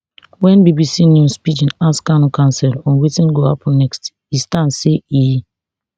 wen bbc news pidgin ask kanu counsel on wetin go happun next e stand say e